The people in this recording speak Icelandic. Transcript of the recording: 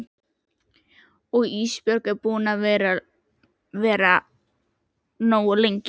Og Ísbjörg er búin að vera nógu lengi.